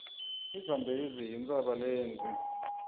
izambezi yintshaba lendze